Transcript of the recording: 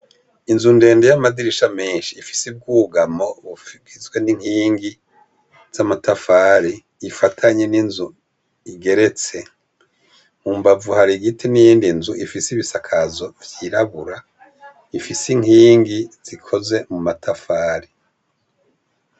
Inzu ndende y'amadirisha meshi ifise ubwugamo bugizwe n'inkingi zama tafari ifatanye n'inzu igeretse mu mbavu hari igiti n'iyindi nzu ifise ibisakazo vyirabura ifise inkingi zikoze muma tafari.